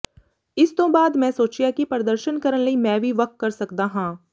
ਇਸ ਤੋਂ ਬਾਅਦ ਮੈਂ ਸੋਚਿਆ ਕਿ ਪ੍ਰਦਰਸ਼ਨ ਕਰਨ ਲਈ ਮੈਂ ਕੀ ਵੱਖ ਕਰ ਸਕਦਾ ਹਾਂ